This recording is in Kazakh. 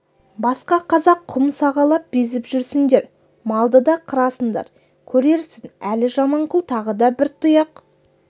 басқа қазақ құм сағалап безіп жүрсіңдер малды да қырасыңдар көрерсің әлі жаманқұл тағы да бір тұяқ